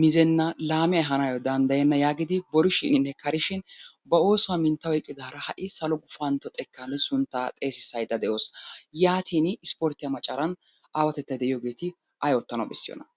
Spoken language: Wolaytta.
mizenna laame ehaanaayyo danddayenna yaagidi borishiininne karishin ba oosuwa mintta oyqqidaara ha"i salo gufantto xekkaani sunttaa xeesissaydda de'awusu. Yaatiini ispporttiya macaran aawatettay de'iyogeeti ay oottana bessiyonaa?